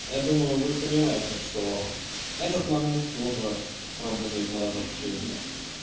я думаю вы понимаете что этот момент тоже работает на разобщение